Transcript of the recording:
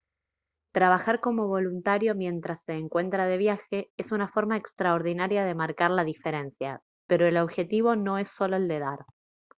trabajar como voluntario mientras se encuentra de viaje es una forma extraordinaria de marcar la diferencia pero el objetivo no es solo el de dar